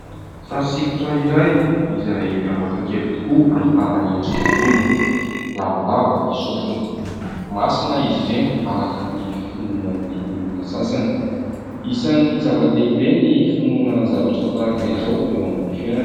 Sary sikotra iray izay miavaka kely tokoa ahitana endrikan'olona. Lavalava ny sofiny. Masina izy ireny araka ny finoan'ny olona sasany. Isan'ny zava-dehibe ny finoana zavatra tahaka izao eo amin'ny fiainana.